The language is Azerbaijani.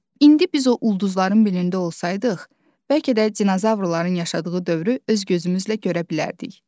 Bax, indi biz o ulduzların birində olsaydıq, bəlkə də dinozavrların yaşadığı dövrü öz gözümüzlə görə bilərdik.